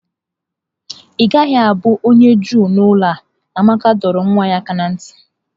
Ị gaghị abụ onye Juu n'ụlọ a! Amaka dọrọ nwa ya aka ná ntị.